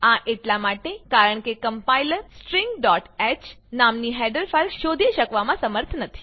આ એટલા માટે કારણ કે કમ્પાઈલર stingહ નામની હેડર ફાઈલ શોધી શકવામાં સમર્થ નથી